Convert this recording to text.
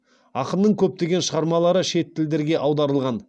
ақынның көптеген шығармалары шет тілдерге аударылған